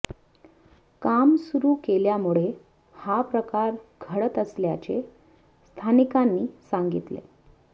काम सुरु केल्यामुळे हा प्रकार घडत असल्याचे स्थानिकांनी सांगितले